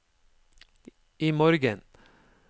imorgen